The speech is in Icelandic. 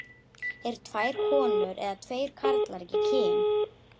Eru tvær konur eða tveir karlar ekki kyn?